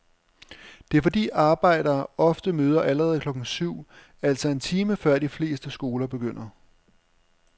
Det er fordi arbejdere ofte møder allerede klokken syv, altså en time før de fleste skoler begynder.